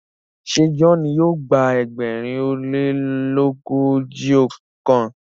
ṣe John yíò gba ẹgbẹrin o lelogojiọkan?